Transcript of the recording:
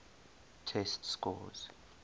test scores